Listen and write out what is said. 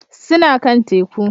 Suna kan Teku